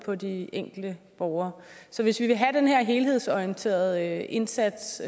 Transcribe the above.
på de enkelte borgere så hvis vi vil have den her helhedsorienterede indsats